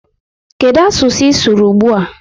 Kedụ asụsụ ị sụrụ ugbua?